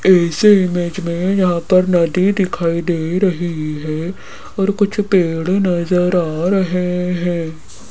इस इमेज में यहां पर नदी दिखाई दे रही है और कुछ पेड़ नजर आ रहे हैं।